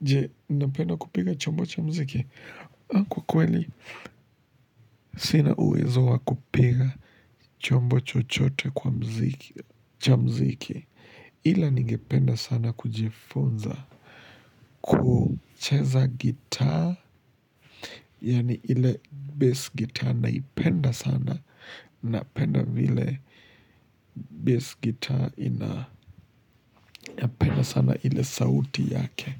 Jee, napenda kupiga chombo cha mziki? Kwa kweli, sina uwezo wa kupiga chombo chochote kwa mziki, cha mziki. Ila ningependa sana kujifunza kucheza gita, yaani ile bass gita naipenda sana, napenda vile bass gita, napenda sana ile sauti yake.